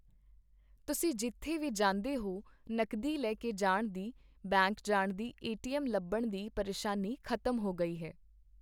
ਤੁਸੀਂ ਜਿੱਥੇ ਵੀ ਜਾਂਦੇ ਹੋ ਨਕਦੀ ਲੈ ਕੇ ਜਾਣ ਦੀ, ਬੈਂਕ ਜਾਣ ਦੀ, ਏਟੀਐਮ ਲੱਭਣ ਦੀ ਪਰੇਸ਼ਾਨੀ ਖ਼ਤਮ ਹੋ ਗਈ ਹੈ।